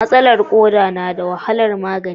Matsalar koda na da wahalar magani.